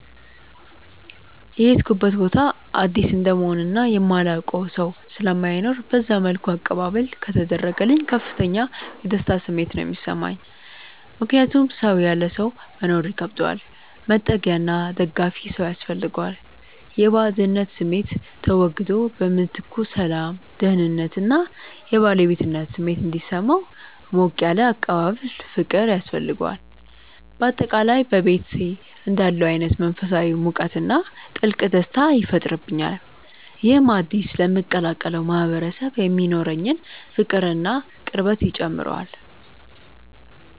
የሄድኩበት ቦታ አዲስ እንደመሆኑ እና የማላውቀው ሰው ስለማይኖር በዛ መልኩ አቀባበል ከተደረገልኝ ከፍተኛ የደስታ ስሜት ነው የሚሰማኝ። ምክንያቱም ሰው ያለ ሰው መኖር ይከብደዋል፤ መጠጊያና ደጋፊ ሰው ያስፈልገዋል። የባዕድነት ስሜቱ ተወግዶ በምትኩ ሰላም፣ ደህንነት እና የባለቤትነት ስሜት እንዲሰማው ሞቅ ያለ አቀባበልና ፍቅር ያስፈልገዋል። በአጠቃላይ በቤቴ እንዳለሁ አይነት መንፈሳዊ ሙቀትና ጥልቅ ደስታ ይፈጥርብኛል። ይህም አዲስ ለምቀላቀለው ማህበረሰብ የሚኖረኝን ፍቅርና ቅርበት ይጨምረዋል።